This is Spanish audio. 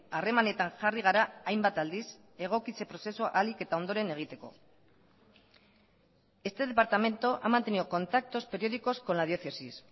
harremanetan jarri gara hainbat aldiz egokitze prozesua ahalik eta ondoren egiteko este departamento ha mantenido contactos periódicos con la diócesis